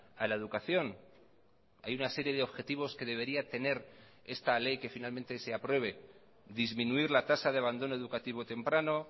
a la educación hay una serie de objetivos que debería tener esta ley que finalmente se apruebe disminuir la tasa de abandono educativo temprano